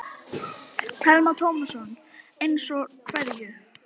Telma Tómasson: Eins og hverju?